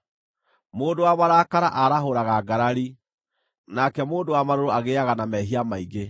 Mũndũ wa marakara aarahũraga ngarari, nake mũndũ wa marũrũ agĩĩaga na mehia maingĩ.